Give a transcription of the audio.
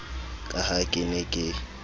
ka ha ke ne ke